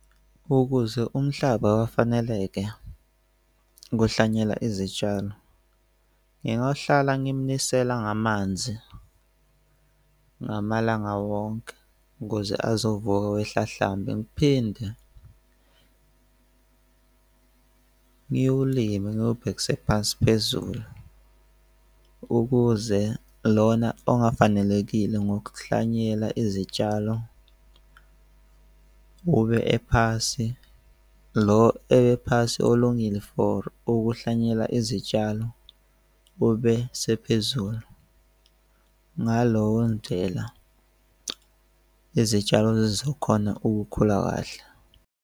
Ukuze umhlaba bafaneleke buhlanyela izitshalo. Ngingahlala ngimnisela ngamanzi ngamalanga wonke ukuze azovuka wehlahlambe. Ngiphinde ngiwulime ngiwubhekise phansi phezulu, ukuze lona ongafanelekile ngokuhlanyela izitshalo bube ephasi, lo ebe phasi ulungile for ukuhlanyela izitshalo, bube sephezulu. Ngaleyo ndlela izitshalo lezi zizokhona ukukhula kahle.